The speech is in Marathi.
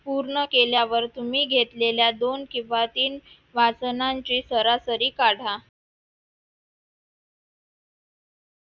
पूर्ण केल्यावर तुम्ही घेतलेल्या दोन किंवा तीन वाचनांची सरासरी काढा